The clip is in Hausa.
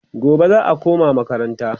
gobe za'a koma makaranta